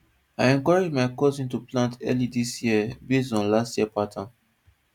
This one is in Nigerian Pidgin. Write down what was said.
i encourage my cousin to plant early this year based on last year pattern